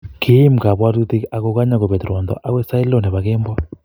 Kiim kabwatutik akokanya kobet ruondo agoi sait lo nebo kemboi